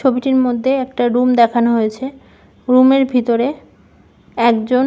ছবিটির মধ্যে একটা রুম দেখানো হয়েছে রুম -এর ভিতরে একজন--